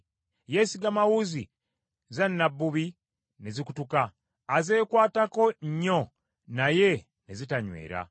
Yeesigama wuzi za nnabbubi ne zikutuka azeekwatako nnyo naye ne zitanywera.